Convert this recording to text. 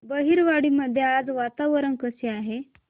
बहिरवाडी मध्ये आज वातावरण कसे आहे